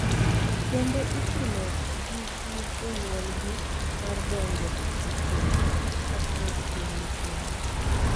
Kendo ichuno gi gi jonyuolgi mar donjo e keny kapod gin nyithindo.